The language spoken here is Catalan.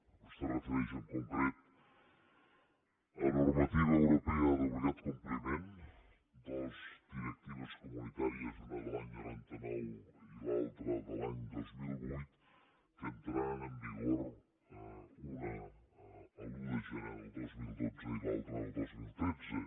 vostè es refereix en concret a normativa europea d’obligat compliment dues directives comunitàries una de l’any noranta nou i l’altra de l’any dos mil vuit que entraran en vigor una l’un de gener del dos mil dotze i l’altra el dos mil tretze